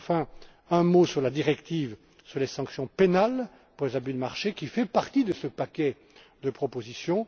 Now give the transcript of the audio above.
Enfin, un mot sur la directive sur les sanctions pénales pour les abus de marché, qui fait partie de ce paquet de propositions.